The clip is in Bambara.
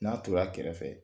N'a tora a kɛrɛfɛ